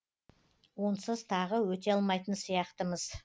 онсыз тағы өте алмайтын сияқтымыз